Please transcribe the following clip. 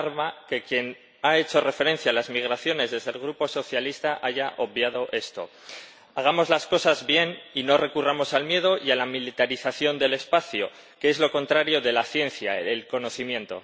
Me alarma que quien ha hecho referencia a las migraciones desde el Grupo socialista haya obviado esto. Hagamos las cosas bien y no recurramos al miedo y a la militarización del espacio, que es lo contrario de la ciencia y el conocimiento.